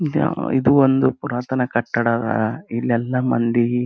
ಇದು ಇದು ಒಂದು ಪುರಾತನ ಕಟ್ಟಡ ಇಲ್ಲಿ ಎಲ್ಲಾ ಮಂದಿ--